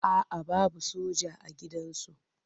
A'a babu soja a gidansu.